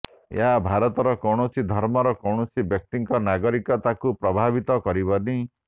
ଏହା ଭାରତର କୌଣସି ଧର୍ମର କୌଣସି ବ୍ୟକ୍ତିଙ୍କ ନାଗରିକତାକୁ ପ୍ରଭାବିତ କରିବନି